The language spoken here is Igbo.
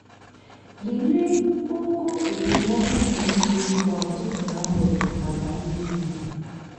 lelee ogo okpomọkụ nke mmiri kwa ụtụtụ na mgbede maka ịdịgide.